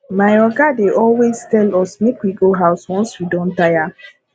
my oga dey always tell us make we go house once we don tire